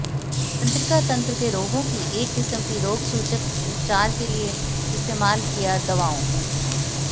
तंत्रिका तंत्र के रोगों की एक किस्म की रोगसूचक उपचार के लिए इस्तेमाल किया दवाओं